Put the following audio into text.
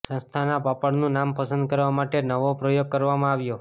સંસ્થાના પાપડનું નામ પસંદ કરવા માટે નવો પ્રયોગ કરવામાં આવ્યો